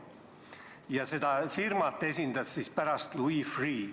Ja just seda firmat esindas pärast Louis Freeh.